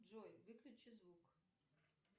джой выключи звук